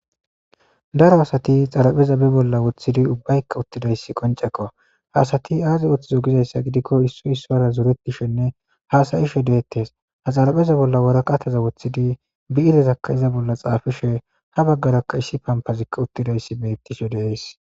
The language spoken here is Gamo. Daro asati xarapheza be bolla woththidi ubbaykka qonccekko. Ha asati aazi ooththizo gizayssa gidikko issoy issara zorettishenne haasa'ishe deettes. Ha xarapheza bolla waraqata woththidi bi'irerakka iza bolla xaafishe ha baggarakka issi pampazi uttidayssi beettishe de'es.